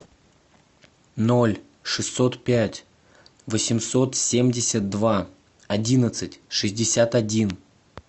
ноль шестьсот пять восемьсот семьдесят два одиннадцать шестьдесят один